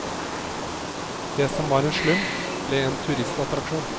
Det som var en slum, ble en turistattraksjon.